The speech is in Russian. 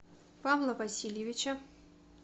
павла васильевича